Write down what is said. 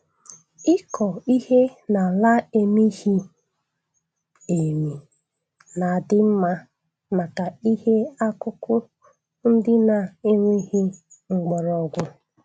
Ịkọ ihe n'ala emighị emi na-adị mma maka ihe akụkụ ndị na-enweghị mgbọrọgwụ